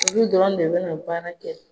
Olu dɔrɔn de bɛna baara kɛ.